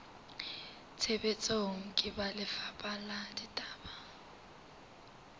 tshebetsong ke lefapha la ditaba